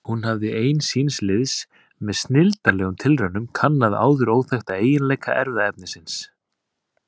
Hún hafði ein síns liðs með snilldarlegum tilraunum kannað áður óþekkta eiginleika erfðaefnisins.